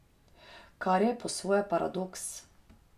Kar je po svoje paradoks.